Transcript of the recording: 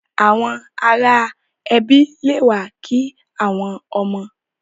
Àwọn ará ẹbi le wa ki àwọn ọmọ.